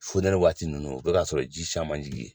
Fonɛnɛ waati ninnu o bɛka sɔrɔ ji caman jigin ye